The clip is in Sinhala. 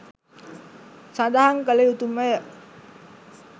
සඳහන් කළ යුතුමය.